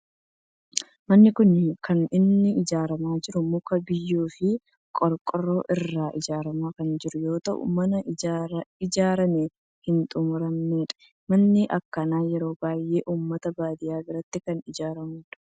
Manni kun kan inni ijaaramaa jiru muka, biyyoo fi qorqoorroo irraa ijaaramaa kan jiru yoo ta'u mana ijaaraamee hin xumuramnedha. Manni akkanaa yeroo baayyee ummata baadiyaa biratti kan ijaaramu dha.